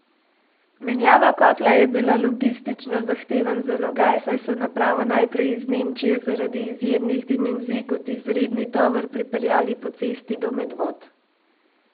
Menjava kotla je bila logistično zahteven zalogaj, saj so napravo najprej iz Nemčije zaradi izjemnih dimenzij kot izredni tovor pripeljali po cesti do Medvod.